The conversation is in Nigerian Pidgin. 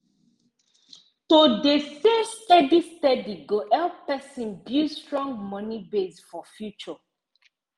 to dey save steady steady go help person build strong moni base for future